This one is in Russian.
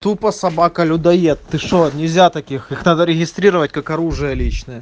тупо собака людоед ты что нельзя таких их надо регистрировать как оружие личное